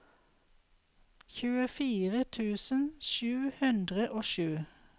tjuefire tusen sju hundre og sju